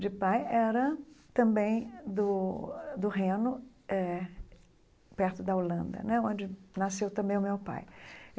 de pai era também do do Reno eh, perto da Holanda né, onde nasceu também o meu pai.